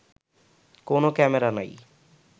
কোনো ক্যামেরা নাই